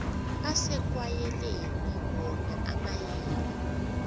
asekwayaleni wona amayilo